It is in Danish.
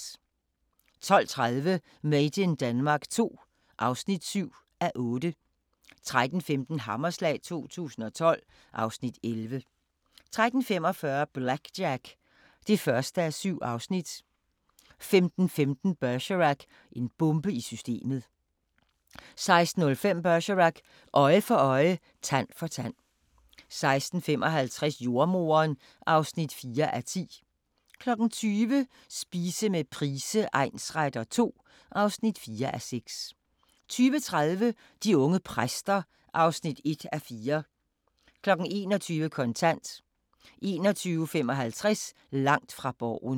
12:30: Made in Denmark II (7:8) 13:15: Hammerslag 2012 (Afs. 11) 13:45: BlackJack (1:7) 15:15: Bergerac: En bombe i systemet 16:05: Bergerac: Øje for øje, tand for tand 16:55: Jordemoderen (4:10) 20:00: Spise med Price egnsretter II (4:6) 20:30: De unge præster (1:4) 21:00: Kontant 21:55: Langt fra Borgen